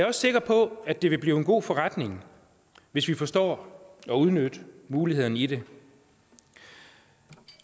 også sikker på at det vil blive en god forretning hvis vi forstår at udnytte mulighederne i det